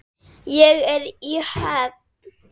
Ég er í höfn.